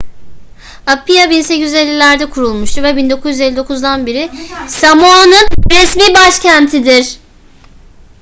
apia 1850'lerde kurulmuştur ve 1959'dan beri samoa'nın resmi başkentidir